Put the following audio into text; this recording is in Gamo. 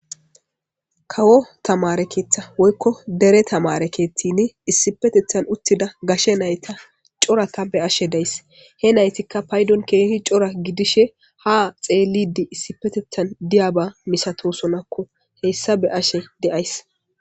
kawo tamarekeetha woykko dere tamare keexidi issipetethan uttida gashe nayta coraka be ashe days he naytikka paydon keehi cora gidishe ha xeellidi issipetethan diyaba misato sonakko heyssa be ashe deays